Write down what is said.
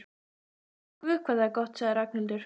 Guð hvað það er gott sagði Ragnhildur.